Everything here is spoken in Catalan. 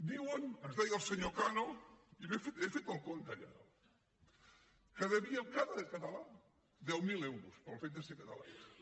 diuen ens deia el senyor cano i he fet el compte allà dalt que devíem cada català deu mil euros pel fet de ser catalans